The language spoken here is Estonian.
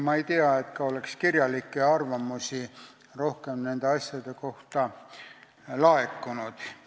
Ma ei tea ka, et nende asjade kohta oleks rohkem kirjalikke arvamusi laekunud.